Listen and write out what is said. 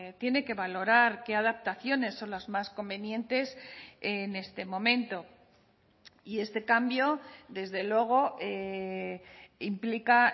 tiene que valorar qué adaptaciones son las más convenientes en este momento y este cambio desde luego implica